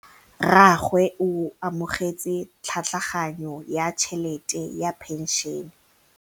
Rragwe o amogetse tlhatlhaganyô ya tšhelête ya phenšene.